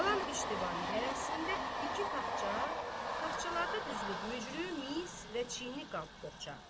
Qalan üç divarın hərəsində iki taxça, taxçalarda düzülüb mücrü, mis və çini qab-boğça.